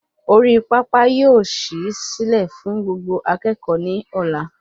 Orí pápá yóò sì silẹ fún Gbogbo akékòó ni ọlá